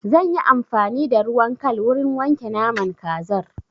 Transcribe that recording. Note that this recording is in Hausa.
Zan yi amfani da ruwan kal wurin wanke naman kazar.